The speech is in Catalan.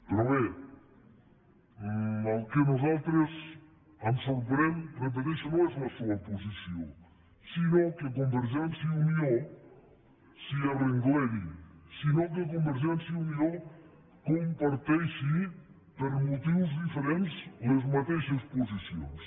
però bé el que a nosaltres ens sorprèn ho repeteixo no és la seua posició sinó que convergència i unió s’hi arrengleri sinó que convergència i unió comparteixi per motius diferents les mateixes posicions